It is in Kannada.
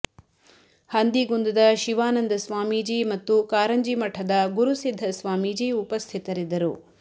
ಹಂದಿಗುಂದದ ಶಿವಾನಂದ ಸ್ವಾಮಿಜಿ ಮತ್ತು ಕಾರಂಜಿ ಮಠದ ಗುರುಸಿದ್ಧ ಸ್ವಾಮಿಜಿ ಉಪಸ್ಥಿತರಿದ್ದರು